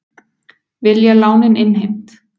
Vilja lánin innheimt